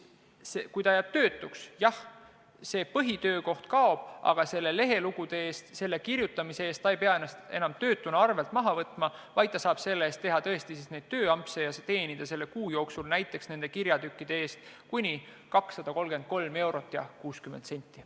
Jah, kui ta jääb töötuks, siis tema põhitöökoht kaob, aga ta ei pea enam ka nende lehelugude kirjutamise tõttu ennast töötuna arvelt maha võtma, vaid ta saab teha tõesti tööampse ja teenida kuu jooksul näiteks nende kirjatükkide eest kuni 233 eurot ja 60 senti.